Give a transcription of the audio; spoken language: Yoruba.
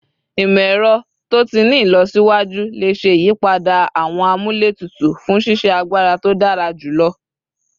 Imọ-ẹrọ to ti ni ilọsiwaju le ṣe iyipada awọn amúlétutù fun ṣiṣe agbara to dara julọ